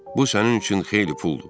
Bu sənin üçün xeyli puldur.